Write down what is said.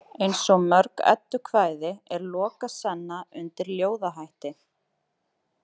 Eins og mörg eddukvæði er Lokasenna undir ljóðahætti.